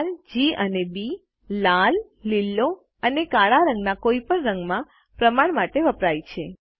R G અને B લાલ લીલો અને કાળા રંગના કોઇપણ રંગમાં પ્રમાણ માટે વપરાય છે